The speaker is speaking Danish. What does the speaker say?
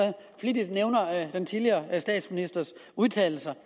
flittigt nævner den tidligere statsministers udtalelser